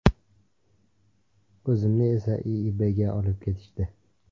O‘zimni esa, IIBga olib ketishdi.